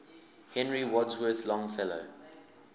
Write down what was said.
henry wadsworth longfellow